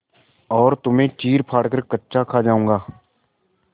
और तुम्हें चीरफाड़ कर कच्चा खा जाऊँगा